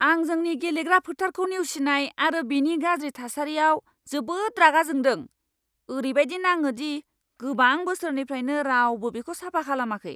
आं जोंनि गेलेग्रा फोथारखौ नेवसिनाय आरो बेनि गाज्रि थासारियाव जोबोद रागा जोंदों! ओरैबायदि नाङो दि गोबां बोसोरनिफ्रायनो रावबो बेखौ साफा खालामाखै!